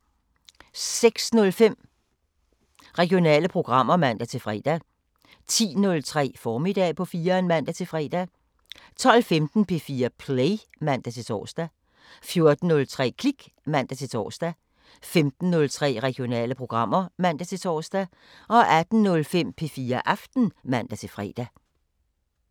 06:05: Regionale programmer (man-fre) 10:03: Formiddag på 4'eren (man-fre) 12:15: P4 Play (man-tor) 14:03: Klik (man-tor) 15:03: Regionale programmer (man-tor) 18:05: P4 Aften (man-fre)